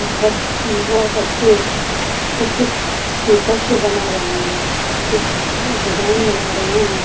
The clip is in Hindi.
उ व बच्चे कुछ-कुछ पेपर से बना रहे हैं कुछ डिजाइन बना रहे हैं।